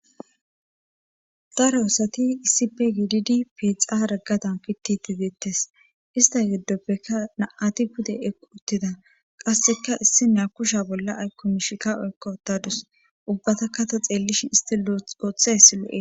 Daro osati issipe giididi pixaragadan piti tizeettes ista geddoppekka naati pude equ uttida qasseka issi naa kusha bolla aykko mishika oykko otadus ubbata kato xeellishin isti lloothayssi lo7e